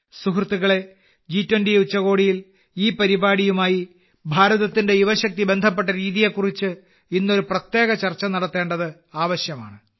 സുഹൃത്തുക്കളെ ജി20 ഉച്ചകോടിയിൽ ഈ പരിപാടിയുമായി ഭാരതത്തിന്റെ യുവശക്തി ബന്ധപ്പെട്ട രീതിയെ കുറിച്ച് ഇന്ന് ഒരു പ്രത്യേക ചർച്ച നടത്തേണ്ടത് ആവശ്യമാണ്